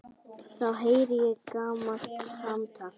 Þá heyri ég gamalt samtal.